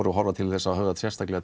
horfa til þeirra sérstaklega